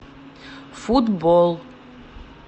футбол